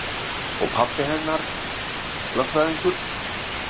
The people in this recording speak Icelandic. Og pabbi hennar lögfræðingur.